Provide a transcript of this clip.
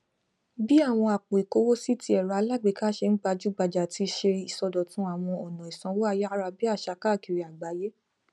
bí àwọn àpò ìkówósì tí ẹrọ alágbèéká ṣe n gbàjúgbajà ti ṣe ìsọdọtun àwọn ọna ìsanwó ayárabíàṣá káàkiri àgbáyé